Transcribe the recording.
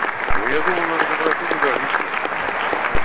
ну я думаю надо попросить удалиться